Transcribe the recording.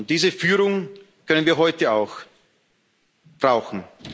Diese Führung können wir heute auch brauchen.